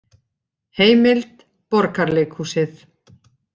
Heimild: Borgarleikhúsið